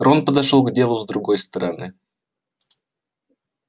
рон подошёл к делу с другой стороны